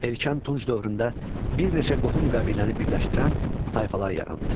Erkən Tunc dövründə bir neçə qohum qəbiləni birləşdirən tayfalar yarandı.